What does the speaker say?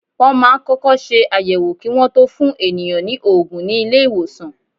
Wọ́n máa ń kọ́kọ́ ṣe àyẹ̀wò kí Wọ́n tó fún ènìyàn ní òògùn ní ilé ìwòsàn.